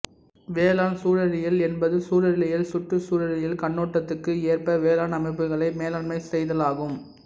வேளாண்சூழலியல் என்பது சூழலியல் சுற்றுச்சூழலீயல் கண்ணோட்டத்துக்கு ஏற்ப வேளாண் அமைப்புகளை மேலாண்மை செய்தலாகும்